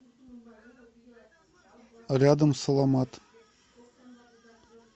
рядом саламат